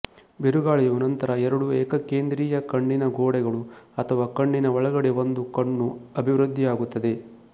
ಬಿರುಗಾಳಿಯು ನಂತರ ಎರಡು ಏಕಕೇಂದ್ರೀಯ ಕಣ್ಣಿನ ಗೋಡೆಗಳು ಅಥವಾ ಕಣ್ಣಿನ ಒಳಗಡೆ ಒಂದು ಕಣ್ಣು ಅಭಿವೃದ್ಧಿಯಾಗುತ್ತದೆ